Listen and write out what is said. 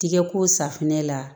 Tigɛko safunɛ la